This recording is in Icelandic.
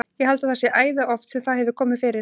Ég held að það sé æði oft sem það hefur komið fyrir.